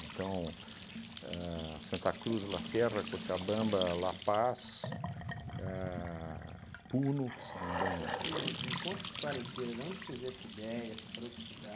Então, ahn Santa Cruz de la Sierra, Cochabamba, La Paz, a Puno, que se não me engano... Só um minuto, me conta essa história inteira, de onde surgiu essa ideia, você parou de estudar...